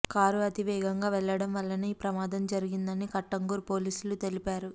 car అతివేగంగా వెళ్లడం వల్లనే ఈ ప్రమాదం జరిగిందని కట్టంగూర్ పోలీసులు తెలిపారు